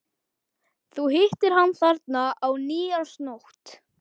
Þú hittir hann þarna á nýársnótt.